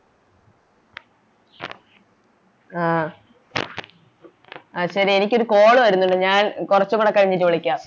ആ ശെരി എനിക്കൊരു Call വരുന്നൊണ്ട് ഞാൻ കൊറച്ചും കൂടെ കഴിഞ്ഞിട്ട് വിളിക്കാം